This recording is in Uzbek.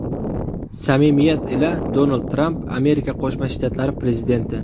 Samimiyat ila, Donald Tramp, Amerika Qo‘shma Shtatlari prezidenti.